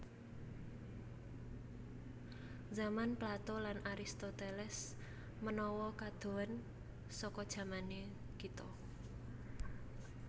Zaman Plato lan Aristoteles menawa kadohen saka zamané kita